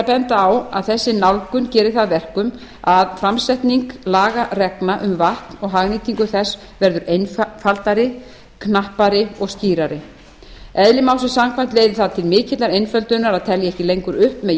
benda á að þessi nálgun gerir það að verkum að samsetning lagareglna um vatn og hagnýtingu þess verður einfaldari knappari og skýrari eðli málsins samkvæmt leiðir það til mikillar einföldunar að telja ekki lengur upp með